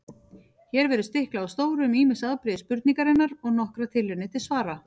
Hér verður stiklað á stóru um ýmis afbrigði spurningarinnar og nokkrar tilraunir til svara.